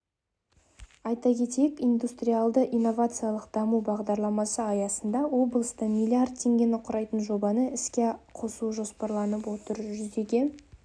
айта кетейік индустриялды-инновациалық даму бағдарламасы аясында облыста млрд теңгені құрайтын жобаны іске қосу жоспарланып отыр жүзеге